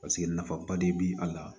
Paseke nafaba de bɛ a la